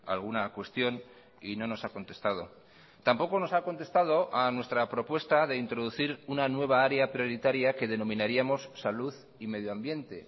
alguna cuestión y no nos ha contestado tampoco nos ha contestado a nuestra propuesta de introducir una nueva área prioritaria que denominaríamos salud y medioambiente